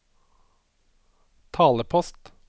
talepost